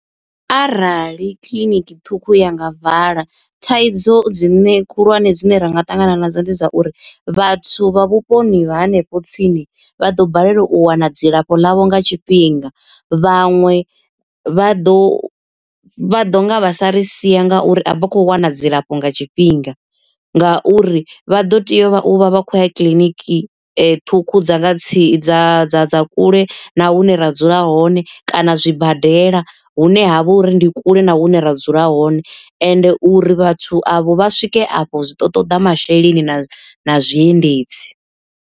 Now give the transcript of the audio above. Arali kiḽiniki ṱhukhu ya nga vala thaidzo dzine khulwane dzine ra nga ṱangana nadzo ndi dza uri, vhathu vha vhuponi vha hanefho tsini vha ḓo balelwa u wana dzilafho ḽavho nga tshifhinga. Vhaṅwe vha ḓo vha ḓo nga vha sa ri sia ngauri a vha khou wana dzilafho nga tshifhinga, ngauri vha ḓo tea u vha vha khou ya kiḽiniki ṱhukhu dza nga tsini dza dza dza kule na hune ra dzula hone kana zwibadela hune ha vha uri ndi kule na hune ra dzula hone, ende uri vhathu avho vha swike afho zwi ḓo ṱoḓa masheleni na na zwiendedzi.